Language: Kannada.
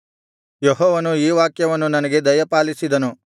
ಯೆಹೋವನು ಈ ವಾಕ್ಯವನ್ನು ನನಗೆ ದಯಪಾಲಿಸಿದನು